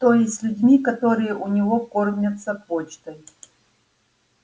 то есть с людьми которые у него кормятся почтой